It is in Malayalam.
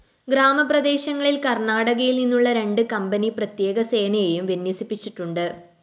ഗ്രാമപ്രദേശങ്ങളില്‍ കര്‍ണ്ണാടകയില്‍ നിന്നുള്ള രണ്ട്‌ കമ്പനി പ്രത്യേകസേനയെയും വിന്യസിപ്പിച്ചിട്ടുണ്ട്‌